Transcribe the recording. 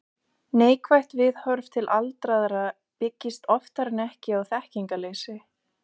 Neikvætt viðhorf til aldraðra byggist oftar en ekki á þekkingarleysi.